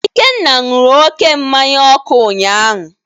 Ikenna nury oke mmanya ọkụ ụnyahụ